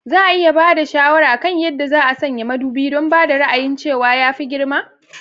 Za a iya ba da shawara kan yadda za a sanya madubi don ba da ra'ayin cewa ya fi girma?